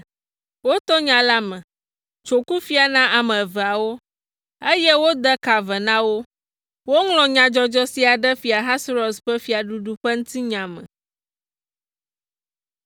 Woto nya la me, tso kufia na ame eveawo, eye wode ka ve na wo. Woŋlɔ nyadzɔdzɔ sia ɖe Fia Ahasuerus ƒe fiaɖuɖu ƒe ŋutinya me.